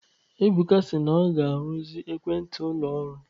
Ebuka si na ọ ga-arụzi ekwentị ụlọ ọrụ